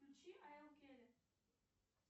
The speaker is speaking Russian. включи айл келли